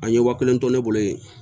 An ye wa kelen to ne bolo yen